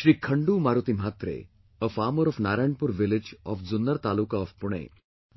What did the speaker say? Shri Khandu Maruti Mhatre, a farmer of Narayanpur village of of Junner Taluka of Pune